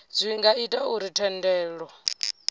zwi nga ita uri thendelo